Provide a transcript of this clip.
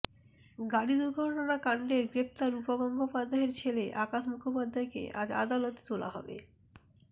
গাড়ি দুর্ঘটনা কাণ্ডে গ্রেফতার রূপা গঙ্গোপাধ্যায়ের ছেলে আকাশ মুখোপাধ্যায়কে আজ আদালতে তোলা হবে